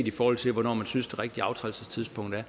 i forhold til hvornår man synes det rigtige afrædelsestidspunkt er